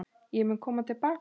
Ég mun koma til baka.